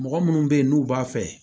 Mɔgɔ munnu be yen n'u b'a fɛ